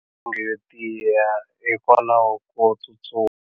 Milenge yo tiya hikwalaho ko tsustuma.